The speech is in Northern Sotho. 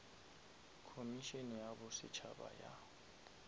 khomišene ya bo setšhaba ya